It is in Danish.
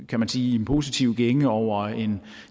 kan man sige positiv gænge over en